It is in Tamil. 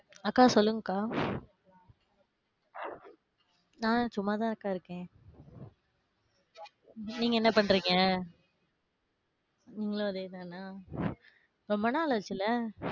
அக்கா சொல்லுங்க அக்கா. நான் சும்மா தான் அக்கா இருக்கேன். நீங்க என்ன பண்றீங்க? நீங்களும் அதே தான? ரொம்ப நாள் அச்சுல.